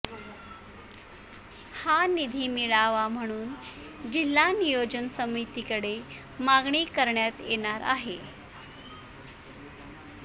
हा निधी मिळावा म्हणून जिल्हा नियोजन समितीकडे मागणी करण्यात येणार आहे